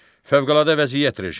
Fövqəladə vəziyyət rejimi.